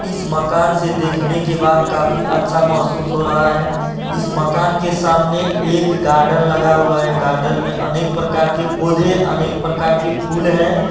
इस मकान से देखने के बाद काफी अच्छा महशूस हो रहा है इस मकान के सामने एक गार्डन लगा हुआ है गार्डन में अनेक प्रकार के पौधे अनेक प्रकार के फूल हैं।